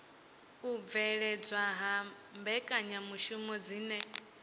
u bveledzwa ha mbekanyamishumo dzine